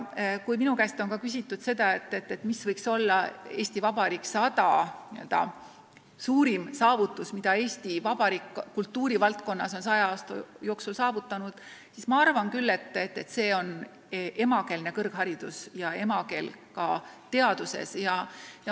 Kui minu käest küsitakse, mis võiks olla 100-aastase Eesti Vabariigi suurim saavutus, mille Eesti Vabariik on kultuuri valdkonnas 100 aasta jooksul saavutanud, siis ma arvan küll, et see on emakeelne kõrgharidus ja emakeel ka teaduses.